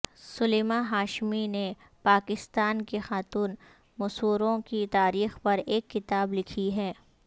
سلیمہ ہاشمی نے پاکستان کی خاتون مصوروں کی تاریخ پر ایک کتاب لکھی ہے